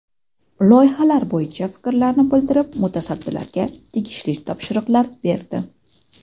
Loyihalar bo‘yicha fikrlarini bildirib, mutasaddilarga tegishli topshiriqlar berdi.